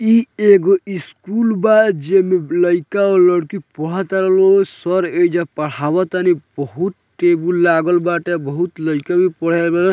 इ एगो स्कूल बा जेमे लइका और लइकी पढ़ा तारा लो सर ऐजा पढ़ावातानी बहुत टेबुल लागल बाटे बहुत लइका भी पढ़े आवे ।